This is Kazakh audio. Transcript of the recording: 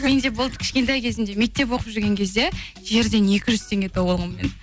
менде болды кішкентай кезімде мектеп оқып жүрген кезде жерден екі жүз теңге тауып алғанмын мен